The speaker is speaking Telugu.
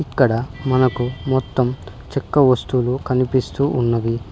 ఇక్కడ మనకు మొత్తం చక్క వస్తువులు కనిపిస్తూ ఉన్నవి.